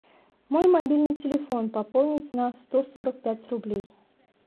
мой мобильный телефон пополнить на сто сорок пять рублей